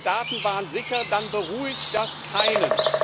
Aber eure Daten waren sicher, dann beruhigt das keinen!